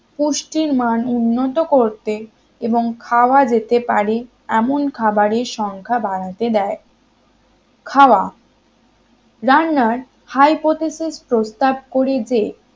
পুষ্টির মান উন্নত করতে এবং খাওয়া যেতে পারে এমন খাবারের সংখ্যা বাড়াতে দেয় খাওয়া রান্নার hypothesis প্রস্তাব করে যে